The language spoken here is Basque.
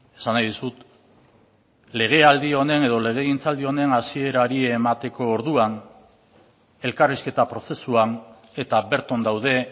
esan nahi dizut legealdi honen edo legegintzaldi honen hasierari emateko orduan elkarrizketa prozesuan eta bertan daude